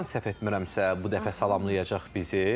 İsti sudan səhv etmirəmsə, bu dəfə salamlayacaq bizi.